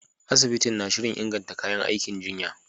Asibitin na shirin inganta kayan aikin jinya.